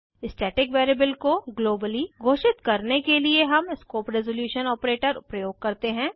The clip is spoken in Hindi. स्टैटिक वेरिएबल को ग्लोबली घोषित करने के लिए हम स्कोप रेज़ोल्यूशन ऑपरेटर प्रयोग करते हैं